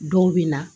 Dɔw bɛ na